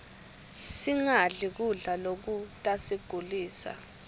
singadli kudla lokutasigulisa